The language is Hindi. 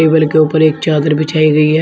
टेबल के ऊपर एक चादर बिछाई गई है।